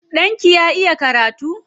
Ɗanki ya iya karatu?